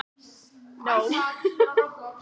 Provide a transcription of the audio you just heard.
Þær voru örugglega að fara á ballið.